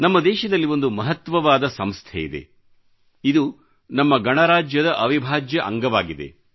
ನಮ್ಮ ದೇಶದಲ್ಲಿ ಒಂದು ಮಹತ್ವವಾದ ಸಂಸ್ಥೆಯಿದೆ ಇದು ನಮ್ಮ ಗಣರಾಜ್ಯದ ಅವಿಭಾಜ್ಯ ಅಂಗವಾಗಿದೆ